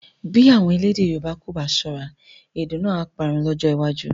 Bí àwọn elédè Yorùbá kò bá ṣọ́ra, èdè náà á parun lọ́jọ́ iwájú